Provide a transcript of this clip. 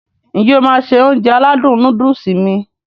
N jẹ́ o máá se Ounjẹ aládùn nóódùsì mi?